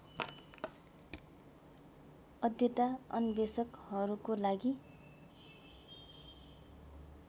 अध्येता अन्वेषकहरूको लागि